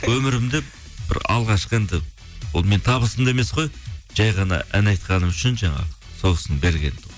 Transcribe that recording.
өмірімде бір алғашқы енді ол менің табысым да емес қой жай ғана ән айтқаным үшін жаңағы сол кісінің бергені